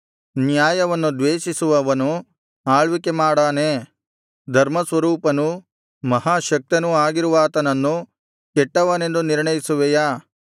ನ್ಯಾಯವನ್ನು ದ್ವೇಷಿಸುವವನು ಆಳ್ವಿಕೆ ಮಾಡಾನೇ ಧರ್ಮಸ್ವರೂಪನೂ ಮಹಾಶಕ್ತನೂ ಆಗಿರುವಾತನನ್ನು ಕೆಟ್ಟವನೆಂದು ನಿರ್ಣಯಿಸುವೆಯಾ